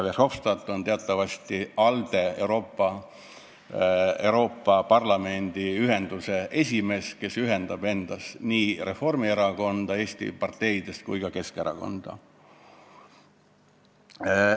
Verhofstadt on teatavasti Euroopa Parlamendi ALDE ühenduse esimees ja ALDE ühendab endas Eesti parteidest nii Reformierakonna kui ka Keskerakonna.